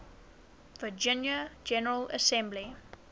virginia general assembly